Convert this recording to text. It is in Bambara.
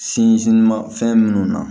Sinzin fɛn minnu na